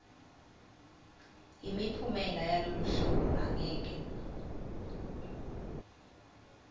imiphumela yaloluhlolo angeke